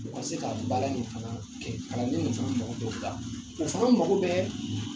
U ka se ka baara in fana kɛ kalanden ninnu fana mɔgɔ bɛ o la o fana mago bɛ